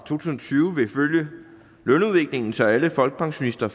tusind og tyve vil følge lønudviklingen så alle folkepensionister